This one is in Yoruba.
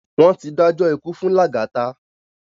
Wón ti dájọ́ ikú fún Lagata